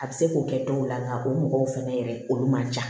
A bɛ se k'o kɛ dɔw la nka o mɔgɔw fɛnɛ yɛrɛ olu man ca